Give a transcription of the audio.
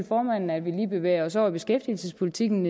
formanden at vi lige bevæger os over i beskæftigelsespolitikken